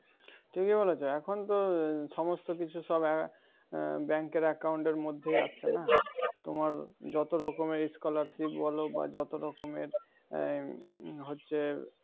ঠিকই বলেছে এখন তো আহ সমস্ত কিছু সব আহ bank এর account এর মধ্যে আছে না? তোমার যতরকমের scholarship বল বা যত রকমের আহ হচ্ছে,